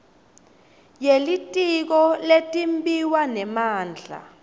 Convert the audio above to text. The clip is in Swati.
yelitiko letimbiwa nemandla